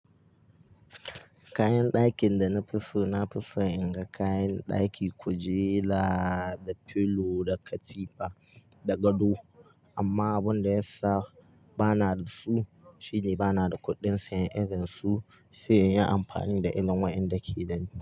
Kayan dakin da na fi so, na fi so in ga kayan daki kujera da pillow da katifa da gado. Amma abin da ya sa ba na da su shine ba na da kuɗin sayan irin su, sai in yi amfani da irin waɗanda ke idan can.